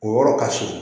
O yɔrɔ ka se